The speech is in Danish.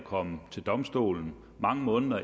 komme til domstolen mange måneder